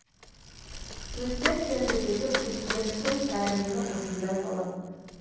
өткен сенбідегі президенттің пәрмені осындай болатын